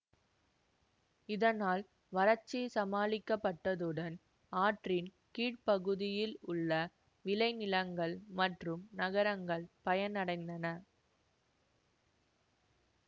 இதனால் வறட்சி சமாளிக்கப்பட்டதுடன் ஆற்றின் கீழ்பகுதியில் உள்ள விளை நிலங்கள் மற்றும் நகரங்கள் பயன் அடைந்தன